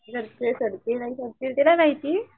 माहिती